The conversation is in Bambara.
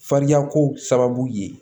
Fariyako sababu ye